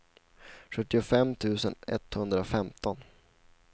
sjuttiofem tusen etthundrafemton